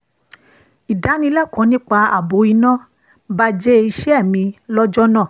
ìdánilẹ́kọ̀ọ́ nípa ààbò iná baje iṣẹ́ mi lọ́jọ́ náà